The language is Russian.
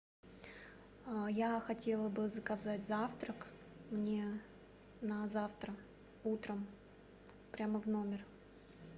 я хотела бы заказать завтра мне на завтра утром прямо в номер